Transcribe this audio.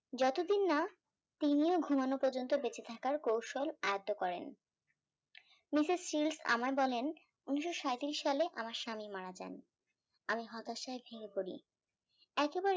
যতদিন না তিনিও ঘুমোনো পর্যন্ত বেঁচেথাকার কৈশল আয়ত্ব করেন মিসেস সিল আমায় বলেন উনিশশো সাঁইতিরিশ সালে আমার স্বামী মারা যান আমি হতাশায় ভেঙে পড়ি একেবারে